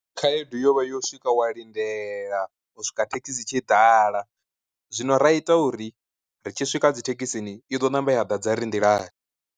Khaedu yo vha yo swika wa lindela u swika thekhisi tshi ḓala zwino ra ita uri ri tshi swika dzithekhisini, i ḓo ṋamba ya ḓadza ri nḓilani.